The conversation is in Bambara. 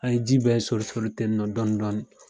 An ye ji bɛɛ sori sori ten nɔn dɔni dɔni.